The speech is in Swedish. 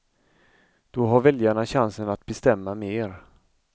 Då har väljarna chansen att bestämma mer.